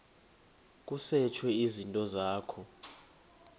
kusetshwe izinto zakho